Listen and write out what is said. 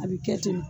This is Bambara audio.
A bɛ kɛ ten de